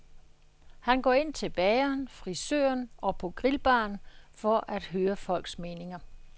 Han går ind til bageren, frisøren og på grillbaren for at høre folks meninger.